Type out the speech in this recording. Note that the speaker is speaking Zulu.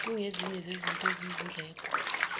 kungezinye zezinto eziyizindleko